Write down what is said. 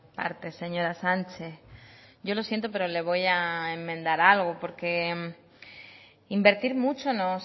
partes señora sánchez yo lo siento pero le voy a enmendar algo porque invertir mucho no